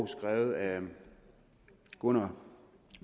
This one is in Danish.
skrevet af gunnar